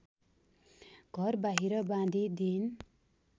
घरबाहिर बाँधि दिईन्